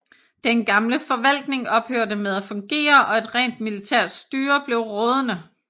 Den gamle forvaltning ophørte med at fungere og et rent militært styre blev rådende